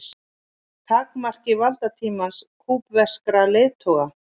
Takmarki valdatíma kúbverskra leiðtoga